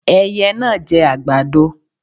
Ẹiyẹ náà jẹ àgbàdo.